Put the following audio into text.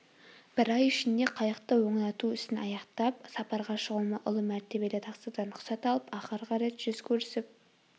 бір ай ішінде қайықты оңдау ісін аяқтап сапарға шығуыма ұлы мәртебелі тақсырдан рұқсат алып ақырғы рет жүз көрісіп